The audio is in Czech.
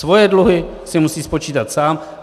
Svoje dluhy si musí spočítat sám.